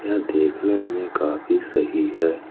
यह देखने में काफी सही है।